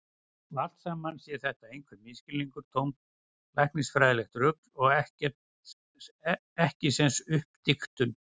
Og allt saman sé þetta einhver misskilningur, tómt læknisfræðilegt rugl og ekkisens uppdiktun.